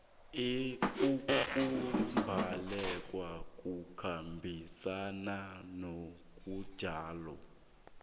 ukubhalelwa kukhambisana nobujamo